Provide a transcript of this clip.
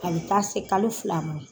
A bɛ taa se kalo fila ma